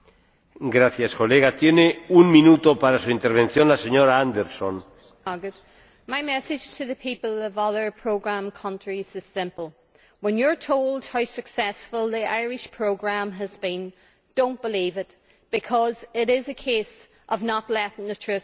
Mr President, my message to the people of other programme countries is simple when you are told how successful the Irish programme has been, do not believe it because it is a case of not letting the truth stand in the way of a good story.